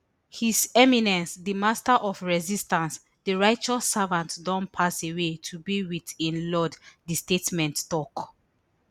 his eminence di master of resistance di righteous servant don pass away to be wit im lord di statement tok